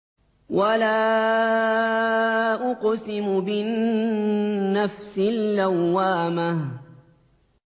وَلَا أُقْسِمُ بِالنَّفْسِ اللَّوَّامَةِ